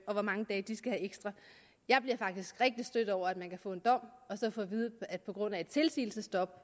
og hvor mange dage de skal have ekstra jeg bliver faktisk rigtig stødt over at man kan få en dom og så få at vide at på grund af et tilsigelsesstop